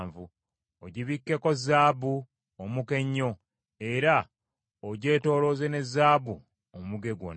Ogibikkeko zaabu omuka ennyo; era ogyetoolooze ne zaabu omuge gwonna.